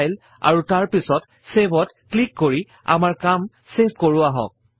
file আৰু তাৰ পাছত Save ত ক্লিক কৰি আমাৰ কাম ছেভ কৰো আহক